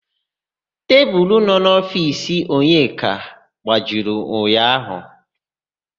Tebulu nọ n'ofiisi Onyeka gbajiri ụnyaahụ.